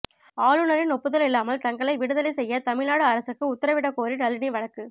ஆளுநரின் ஒப்புதல் இல்லாமல் தங்களை விடுதலை செய்ய தமிழ்நாடு அரசுக்கு உத்தரவிடக் கோரி நளினி வழக்கு